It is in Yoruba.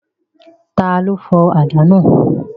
Ta ló fọ àdá náà?